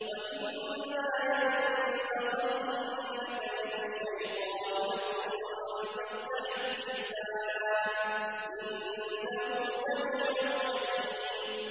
وَإِمَّا يَنزَغَنَّكَ مِنَ الشَّيْطَانِ نَزْغٌ فَاسْتَعِذْ بِاللَّهِ ۚ إِنَّهُ سَمِيعٌ عَلِيمٌ